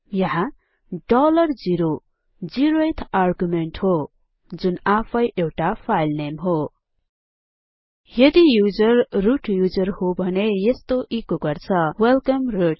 यहाँ 0 dollar zero zeroeth argument हो जुन आफैं एउटा फाइलनेम हो यदि युजर रुट युजर हो भने यस्तो एचो गर्छ वेलकम root